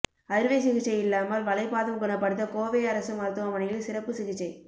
அறுவை சிகிச்சையில்லாமல் வளைபாதம் குணப்படுத்த கோவை அரசு மருத்துவமனையில் சிறப்பு சிகிச்சை